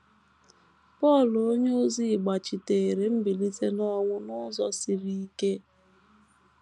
Pọl onyeozi gbachiteere mbilite n’ọnwụ n’ụzọ siri ike